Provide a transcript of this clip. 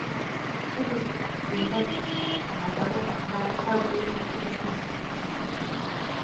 Cudurka 'Cilada' waxaa lagu dhaxlaa qaab weyn oo ku xiran X.